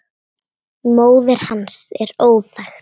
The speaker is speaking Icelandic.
Móðir hans er óþekkt.